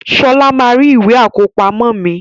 Sola máa rí Ìwé àkọ́pamọ́ mi